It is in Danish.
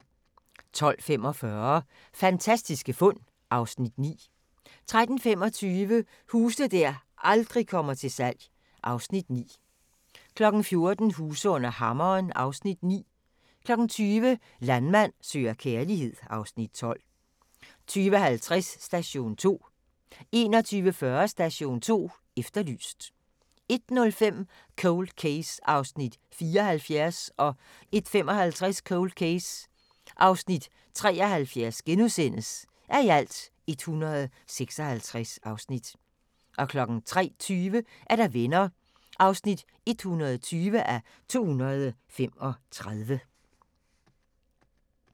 12:45: Fantastiske fund (Afs. 9) 13:25: Huse der aldrig kommer til salg (Afs. 9) 14:00: Huse under hammeren (Afs. 9) 20:00: Landmand søger kærlighed (Afs. 12) 20:50: Station 2 21:40: Station 2 Efterlyst 01:05: Cold Case (74:156) 01:55: Cold Case (73:156)* 03:20: Venner (120:235)